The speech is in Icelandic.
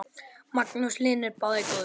Magnús Hlynur: Báðir góðir?